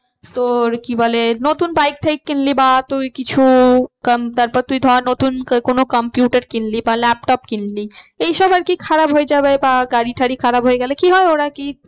তোর কি বলে নতুন bike টাইক কিনলি বা তুই কিছু তারপর তুই ধর নতুন কোনো computer কিনলি বা laptop কিনলি এই সব আর কি খারাপ হয়ে যাবে বা গাড়ি টাড়ি খারাপ হয়ে গেলে কি হয় ওরা কি